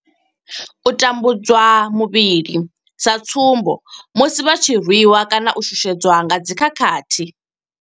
U tambudzwa muvhili, sa tsumbo musi vha tshi rwi wa kana u shushedzwa nga dzi khakhathi.